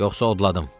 Yoxsa odladım!